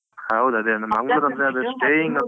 ಹೌದು ಅದೆ ಅಂದ್ರೆ ಮಂಗ್ಳೂರಂದ್ರೆ ಅದೇ staying ಸ್ವಲ್ಪ